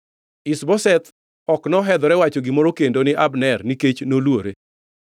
Ish-Boseth ok nohedhore wacho gimoro kendo ni Abner nikech noluore.